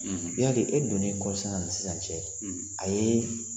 I y'a dɔn e donnen kɔɔrisɛnɛ a ni sisan cɛ, a ye